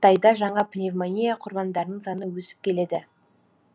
қытайда жаңа пневмония құрбандарының саны өсіп келеді